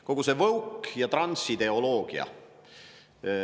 Kogu see woke- ja transideoloogia.